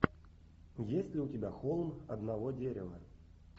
есть ли у тебя холм одного дерева